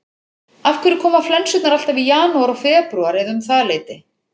Af hverju koma flensurnar alltaf í janúar og febrúar eða um það leyti?